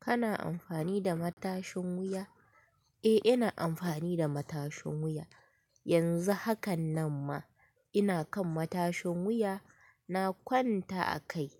Kana amfani da matashin wuya? Eh, ina amfani da matashin wuya. Yanzu hakan nan ma ina kan matashin wuya. Na kwanta a kai.